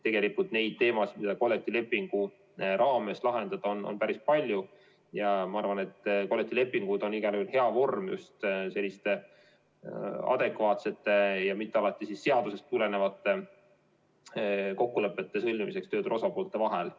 Tegelikult neid teemasid, mida kollektiivlepingu raames lahendada, on päris palju ja ma arvan, et kollektiivlepingud on igal juhul hea vorm just selliste adekvaatsete ja mitte alati seadusest tulenevate kokkulepete sõlmimiseks tööturu osapoolte vahel.